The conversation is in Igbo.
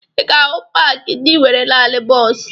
Ị ga-ahụ paakị ndị nwere naani bọọsụ